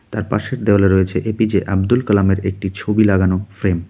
তার পাশের দেওয়ালে রয়েছে এ_পি_জে আব্দুল কালামের একটি ছবি লাগানো ফ্রেম .